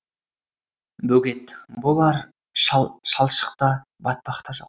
бөгет болар шалшық та батпақ та жоқ